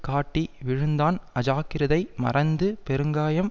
காட்டி விழுந்தான் அஜாக்கிரதை மறைந்து பெருங்காயம்